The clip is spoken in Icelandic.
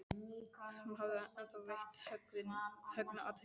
Hún hafði ekki ennþá veitt Högna athygli.